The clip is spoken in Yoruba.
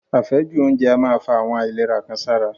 Àfẹ́jù oúnjẹ a máa fa àwọn àìlera kan sára.